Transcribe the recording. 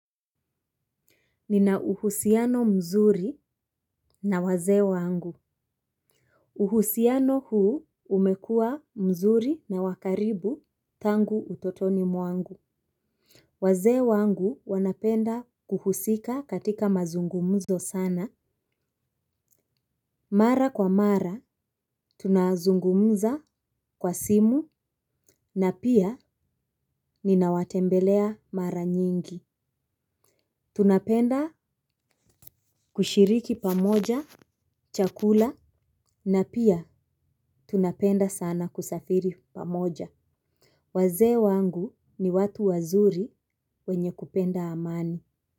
Nina uhusiano mzuri na wazee wangu. Uhusiano huu umekuwa mzuri na wakaribu tangu utotoni mwangu. Waze wangu wanapenda kuhusika katika mazungumzo sana. Mara kwa mara tunazungumza kwa simu na pia nina watembelea mara nyingi. Tunapenda kushiriki pamoja chakula na pia tunapenda sana kusafiri pamoja. Waze wangu ni watu wazuri wenye kupenda amani.